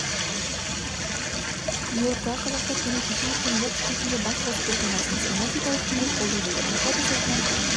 нью-йорктағы қазақтар күні кеше өткен бокс кешінде бас қосып отандасымыз геннадий головкинге қолдау білдірді фото сайтынан